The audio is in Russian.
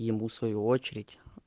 ему свою очередь